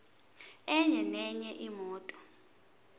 enye nenye imoto